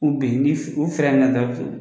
U ben ni u minɛ tɔ